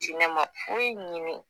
diinɛ ma foyi ɲini